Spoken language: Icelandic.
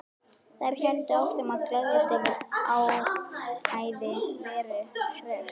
Þær héldu áfram að gleðjast yfir áræði Veru Hress.